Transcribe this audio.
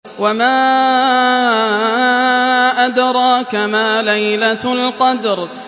وَمَا أَدْرَاكَ مَا لَيْلَةُ الْقَدْرِ